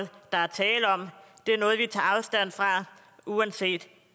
der er tale om det er noget vi tager afstand fra uanset